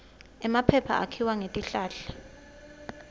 emaphepha akhiwa ngetihlahla